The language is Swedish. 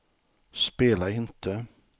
spela inte